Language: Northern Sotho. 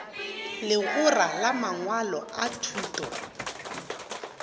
legora la mangwalo a thuto